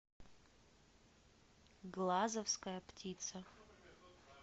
глазовская птица